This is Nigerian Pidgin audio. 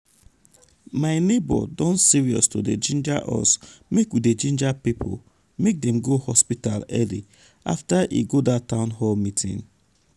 my neighbor don serious to dey ginger us make we dey ginger people make dem go hospital early after e go dat town hall meeting.